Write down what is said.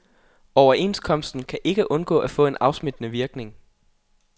Overenskomsten kan ikke undgå at få en afsmittende virkning.